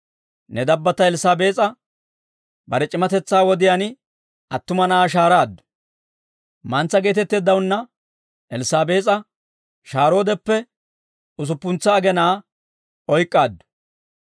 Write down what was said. Ne dabbatta Elssaabees'a bare c'imatetsaa wodiyaan attuma na'aa shahaaraaddu. Mantsa geetetteeddawunna Elssaabees'a shahaaroodeppe usuppuntsa agenaa oyk'k'aaddu.